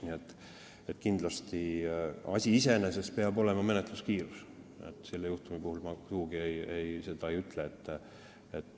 Nii et kindlasti peab menetluskiirus olema asi iseeneses, mida ma selle juhtumi puhul sugugi ei ütleks.